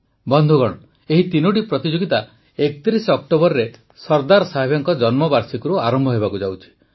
ବନ୍ଧୁଗଣ ଏହି ତିନୋଟି ପ୍ରତିଯୋଗିତା ୩୧ ଅକ୍ଟୋବରରେ ସର୍ଦ୍ଦାର ସାହେବଙ୍କ ଜନ୍ମବାର୍ଷିକୀରୁ ଆରମ୍ଭ ହେବାକୁ ଯାଉଛି